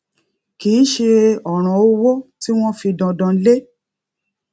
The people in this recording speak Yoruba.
kì í ṣe òràn owó tí wón fi dandan lé